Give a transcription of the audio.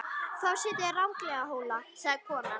Þá sitjið þið ranglega Hóla, sagði konan.